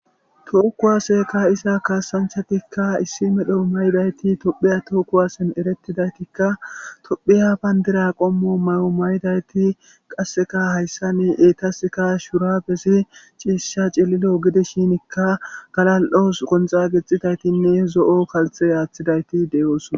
too kuwaseka ka'iza kaasanchatikka issi medho may7dayti tophiya tookuwasen erettidaytikka tophiya bayndira qommo may7o maydayti qasseka hayssa ni eetaska shura besi ciisha cililo gidishinikka galal7os qonxa gexxitaytinne zo7o kalthe aaththidayti deyoosona